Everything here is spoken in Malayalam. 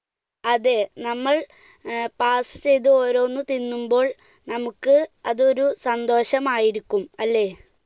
അതെ നമ്മൾ ഏർ pass ചെയ്ത് ഓരോന്ന് തിന്നുമ്പോൾ നമുക്ക് അതൊരു സന്തോഷമായിരിക്കും അല്ലെ?